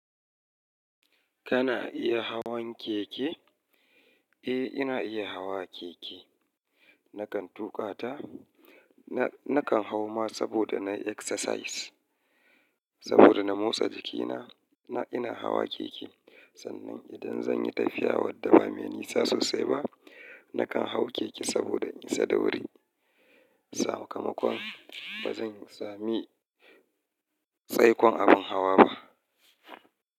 Kana iya hawan keke? Eh, ina iya hawa keke. Nakan tuƙa ta, na, nakan hau ma saboda nayi exercise, saboda na motsa jikina. Na ina hawa keke sannan idan zan yi tafiya wadda ba mai nisa sosai ba, nakan hau keke saboda in isa da wuri. Sakamakon ba zan sami tsaikon abin hawa ba.